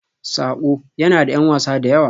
"Saƙo" yana da ƴan wasa da yawa.